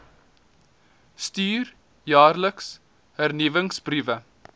stuur jaarliks hernuwingsbriewe